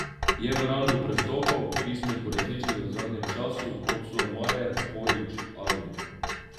Je v rangu prestopov, ki smo jih uresničili v zadnjem času, kot so Majer, Horić, Alvir ...